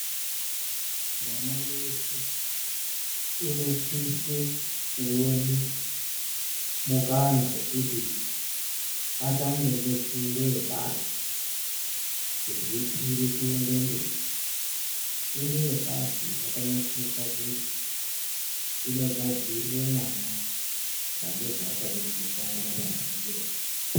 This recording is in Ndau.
Mwana weshe unosise kuone mukana wokuti atange ngefundo yepashi zveikwire kuenda mberi. Fundo yepashi yakanakire pakuti inogadzirire mwana pane zvaachade kusangana nazvo kumberi.